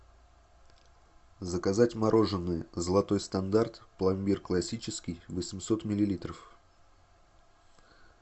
заказать мороженое золотой стандарт пломбир классический восемьсот миллилитров